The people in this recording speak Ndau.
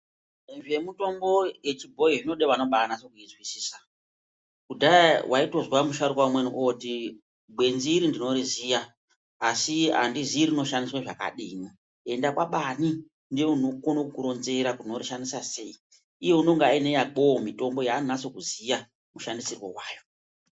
Zvemitombo yechibhoyi zvinoda vanobaanyatso zvinzwisisa kudhaya vaitozwa musharukwa mumweni oti gwenzi iri ndinoriziya asi handizii rinoshandiswa zvakadii ,enda kwabaani ndiye unokone kuuronzera kuti unoushandina sei iye unenge uine yakewo yaanonyatsokuziwa mushandisirwo vayo.